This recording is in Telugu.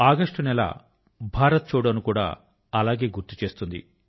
ఆగస్టు నెల భారత్ ఛోడో ను కూడా అలాగే గుర్తు చేస్తుంది